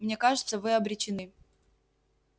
мне кажется вы обречены